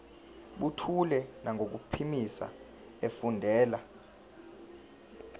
buthule nangokuphimisa efundela